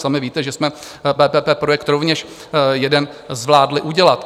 Sami víte, že jsme PPP projekt rovněž jeden zvládli udělat.